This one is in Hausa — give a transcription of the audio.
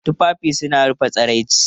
Tufafi suna rufe tsiraici.